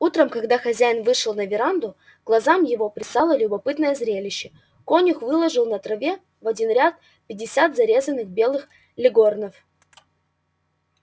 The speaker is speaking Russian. утром когда хозяин вышел на веранду глазам его предстало любопытное зрелище конюх выложил на траве в один ряд пятьдесят зарезанных белых леггорнов